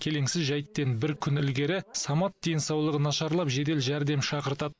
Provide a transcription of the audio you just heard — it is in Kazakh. келеңсіз жайттен бір күн ілгері самат денсаулығы нашарлап жедел жәрдем шақыртады